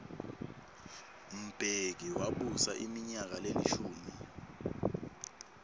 mbeki wabusa iminyaka lelishumi